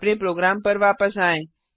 अपने प्रोग्राम पर वापस आएँ